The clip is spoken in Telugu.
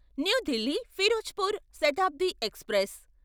new Delhi Firozpur Shatabdi express